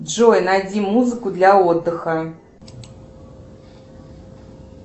джой найди музыку для отдыха